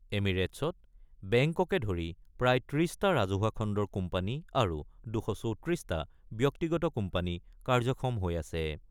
এমিৰেটছত বেংককে ধৰি প্ৰায় ৩০ টা ৰাজহুৱা খণ্ডৰ কোম্পানী আৰু ২৩৪ টা ব্যক্তিগত কোম্পানী কাৰ্যক্ষম হৈ আছে।